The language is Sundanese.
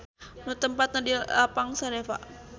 Nu tempatna di Lapang Saneva.